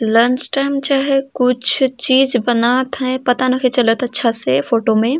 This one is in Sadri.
लंच टाइम चाहै कुछ चीज बनात है पता नखई चलत अच्छा से फोटो में --